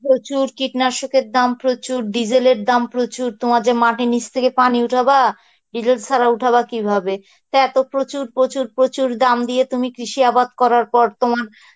প্রচুর কীটনাশকের দাম প্রচুর, diesel এর দাম প্রচুর তোমার যে মাটির নিচ থেকে পানি উঠাবা diesel ছাড়া উঠাবা কিভাবে তা এত প্রচুর প্রচুর প্রচুর প্রচুর দাম দিয়ে তুমি এত কৃষিবাদ করার পর তোমার